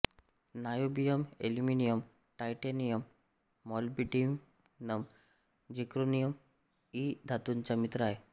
niobium aluminium titanium molybdenum zirconium इ धातूंचा मित्र आहे